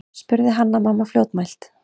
spurði Hanna-Mamma fljótmælt.